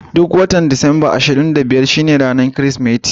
Duk watan Disamba ashirin da biyar shine ranar Kirsimeti.